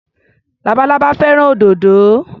Labalábá fẹ́ràn òdòdó.